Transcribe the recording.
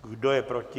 Kdo je proti?